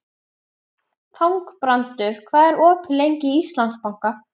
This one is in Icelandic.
Þangbrandur, hvað er opið lengi í Íslandsbanka?